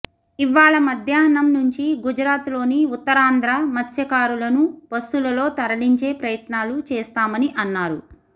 ఇవ్వాళ మధ్యాహ్నం నుంచి గుజరాత్ లోని ఉత్తరాంధ్ర మత్స్యకారులను బస్సులలో తరలించే ప్రయత్నాలు చేస్తామని అన్నారు